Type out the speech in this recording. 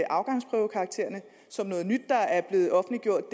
afgangsprøvekaraktererne som noget nyt der er blevet offentliggjort og